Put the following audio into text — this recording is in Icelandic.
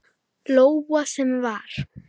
Lóa: Sem var?